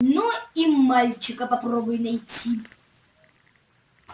ну и мальчика попробуй найти